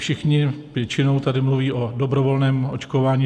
Všichni většinou tady mluví o dobrovolném očkování.